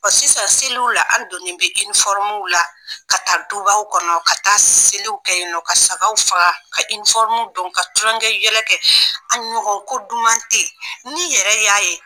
Ɔ sisan seliw la an don bɛ la ka taa dubaw kɔnɔ ka taa seliw kɛ yen nɔ ka sagaw faga ka don ka tulonkɛ yɛlɛ kɛ an ɲɔgɔn ko duman tɛ yen n'i yɛrɛ y'a ye